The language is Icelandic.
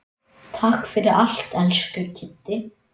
Takk fyrir allt, elsku Kiddi.